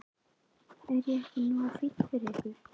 Er ég ekki nógu fínn fyrir ykkur?